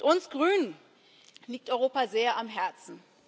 Uns Grünen liegt Europa sehr am Herzen.